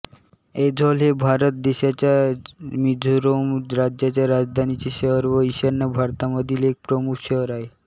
ऐझॉल हे भारत देशाच्या मिझोरम राज्याच्या राजधानीचे शहर व ईशान्य भारतामधील एक प्रमुख शहर आहे